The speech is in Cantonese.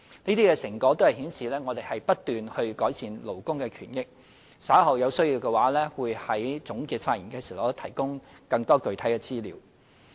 這些成果顯示，我們不斷改善勞工權益，稍後有需要的話我會在總結發言時提供更多具體資料。